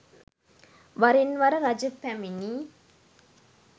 වරින් වර රජ පැමිණි